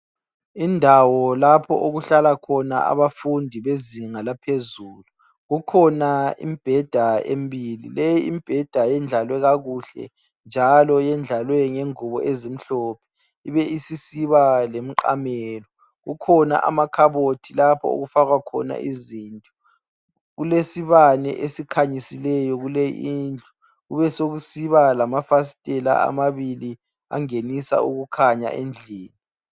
Indawo lapho okuhlala khona abafundi bezinga laphezulu kukhona imbheda emibili leyi imbheda eyendlalwe kakuhle njalo iyendlalwe ngengubo ezimhlophe ibe isisiba lemiqamelo, kukhona amakhabothi lapho okufakwa khona izinto. Kulesibane esikhanyisileyo kule indlu kubesekusiba lamafastela amabili angenisa ukukhanya endlini.